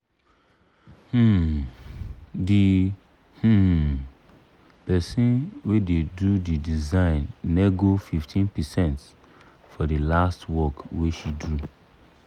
um d um person wey da do d design nego 15 percent for the last work wey she do